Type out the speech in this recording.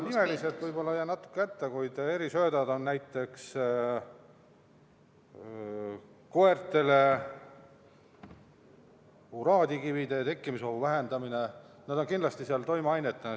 Nimeliselt võib-olla jään natuke hätta, kuid erisööt on näiteks mõeldud koertele uraadikivide tekkimise ohu vähendamiseks, see on kindlasti seal sees toimeainetena.